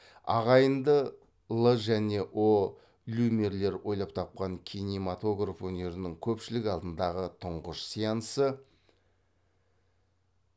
ағайынды л және о люмьерлер ойлап тапқан кинематограф өнерінің көпшілік алдындағы тұңғыш сеансы